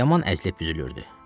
Yaman əzilib-üzülürdü.